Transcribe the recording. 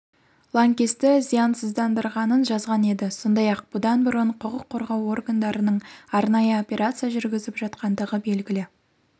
лаңкесті зиянсыздандырғанын жазған еді сондай-ақ бұдан бұрын құқық қорғау органдарының арнайы операция жүргізіп жатқандығы белгілі